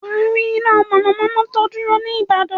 Wà á rí iná mọ̀nàmọ́ná tó dúró ní ìbàdàn.